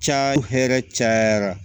Ca hɛrɛ cayara